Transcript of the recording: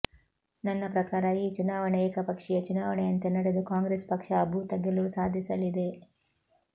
ನನ್ನ ಪ್ರಕಾರ ಈ ಚುನಾವಣೆ ಏಕಪಕ್ಷೀಯ ಚುನಾವಣೆಯಂತೆ ನಡೆದು ಕಾಂಗ್ರೆಸ್ ಪಕ್ಷ ಅಭೂತ ಗೆಲುವು ಸಾಧಿಸಲಿದೆ